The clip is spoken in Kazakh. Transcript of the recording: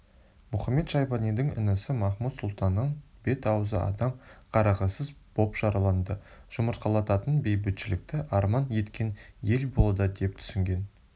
мұхамед-шайбанидың інісі махмуд-сұлтаннан бет-аузы адам қарағысыз боп жараланды жұмыртқалататын бейбітшілікті арман еткен ел болуда деп түсінген